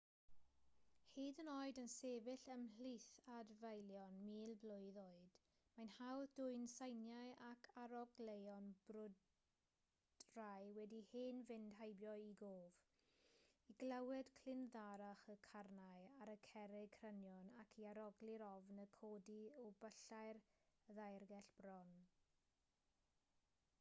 hyd yn oed yn sefyll ymhlith adfeilion mil blwydd oed mae'n hawdd dwyn seiniau ac arogleuon brwydrau wedi hen fynd heibio i gof i glywed clindarddach y carnau ar y cerrig crynion ac i arogli'r ofn yn codi o byllau'r ddaeargell bron